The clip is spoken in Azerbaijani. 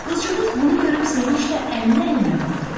Qızcığaz bunu görüb sevinclə əlini əlinə vurdu.